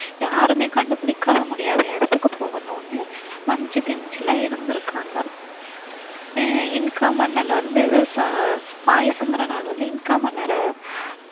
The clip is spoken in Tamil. யாருமே கண்டுபிடிக்கா முடியாத இடத்துக்கு போகணும்னு மச்சு பிச்சுல இருந்திருக்காங்க அஹ் இன்கா மன்னன் வந்து அஹ் வந்து இன்கா மன்னரை